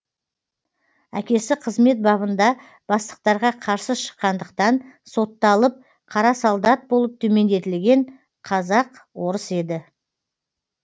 әкесі қызмет бабында бастықтарға қарсы шыққандықтан сотталып қара солдат болып төмендетілген казак орыс еді